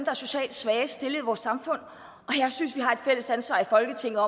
er socialt svagest stillede i vores samfund og jeg synes vi har et fælles ansvar i folketinget